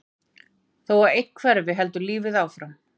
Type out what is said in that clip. Þó að einn hverfi heldur lífið áfram.